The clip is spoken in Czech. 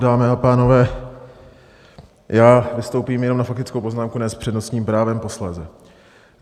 Dámy a pánové, já vystoupím jenom na faktickou poznámku, ne s přednostním právem posléze.